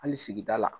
Hali sigida la